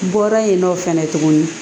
Bɔra yen nɔ fɛnɛ tuguni